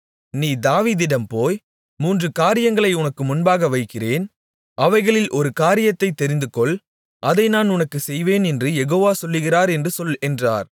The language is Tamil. நீ தாவீதிடம் போய் மூன்று காரியங்களை உனக்கு முன்பாக வைக்கிறேன் அவைகளில் ஒரு காரியத்தைத் தெரிந்துகொள் அதை நான் உனக்குச் செய்வேன் என்று யெகோவா சொல்கிறார் என்று சொல் என்றார்